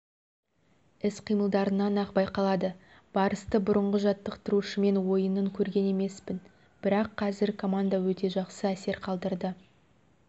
іс-қиылдарынан-ақ байқалады барысты бұрынғы жаттықтырушымен ойынын көрген емеспін бірақ қазір команда өте жақсы әсер қалдырды